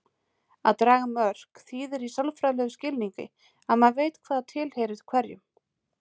Að draga mörk þýðir í sálfræðilegum skilningi að maður veit hvað tilheyrir hverjum.